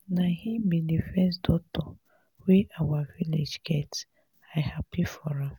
na him be the first doctor wey our village get. i happy for am.